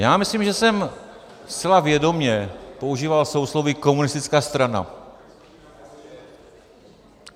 Já myslím, že jsem zcela vědomě používal sousloví komunistická strana.